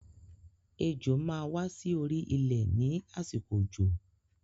Ejò máa wà sí orí ilé ni àsìkò òjò